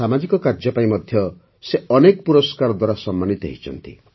ସାମାଜିକ କାର୍ଯ୍ୟ ପାଇଁ ମଧ୍ୟ ସେ ଅନେକ ପୁରସ୍କାର ଦ୍ୱାରା ସମ୍ମାନିତ ହୋଇଛନ୍ତି